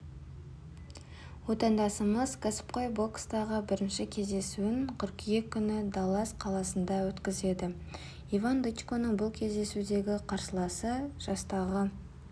отандасымыз кәсіпқой бокстағы бірінші кездесуін қыркүйек күні даллас қаласында өткізеді иван дычконың бұл кездесудегі қарсыласы жастағы